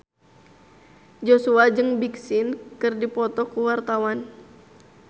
Joshua jeung Big Sean keur dipoto ku wartawan